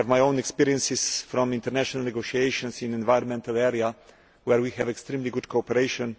I have my own experience from international negotiations in an environmental area, where we have extremely good cooperation.